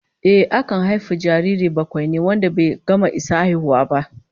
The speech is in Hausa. Ehh, akan haifi jariri bakwaini wanda bai gama isa haihuwa ba